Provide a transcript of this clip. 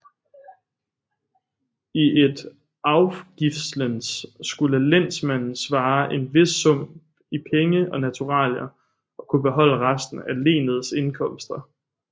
I et afgiftslen skulle lensmanden svare en vis sum i penge og naturalier og kunne beholde resten af lenets indkomster